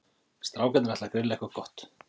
Strákarnir ætla að grilla eitthvað gott.